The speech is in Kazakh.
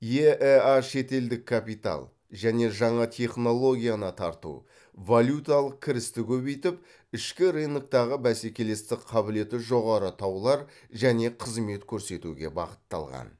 еэа шетелдік капитал және жаңа технологияны тарту валюталық кірісті көбейтіп ішкі рыноктағы бәсекелестік қабілеті жоғары таулар және қызмет көрсетуге бағытталған